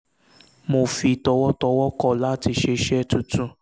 mo fi tọwọ̀tọwọ̀ kọ̀ láti ṣe iṣẹ́ tuntun